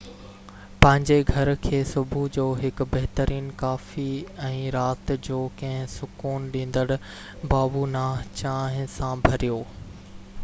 پنھنجي گهر کي صبح جو هڪ بهترين ڪافي ۽ رات جو ڪنهن سڪون ڏيندڙ بابونه چانهه سان ڀريو